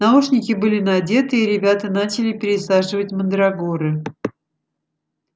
наушники были надеты и ребята начали пересаживать мандрагоры